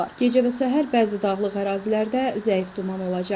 Gecə və səhər bəzi dağlıq ərazilərdə zəif duman olacaq.